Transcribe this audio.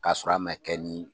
K'a sɔrɔ a mɛ kɛ nin.